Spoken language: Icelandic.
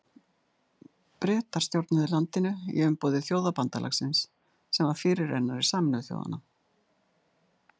Bretar stjórnuðu landinu í umboði Þjóðabandalagsins sem var fyrirrennari Sameinuðu þjóðanna.